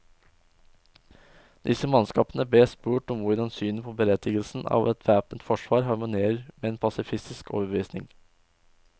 Disse mannskapene bes spurt om hvordan synet på berettigelsen av et væpnet forsvar harmonerer med en pasifistisk overbevisning.